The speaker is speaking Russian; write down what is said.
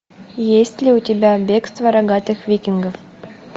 есть ли у тебя бегство рогатых викингов